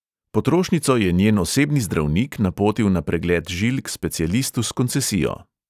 Potrošnico je njen osebni zdravnik napotil na pregled žil k specialistu s koncesijo.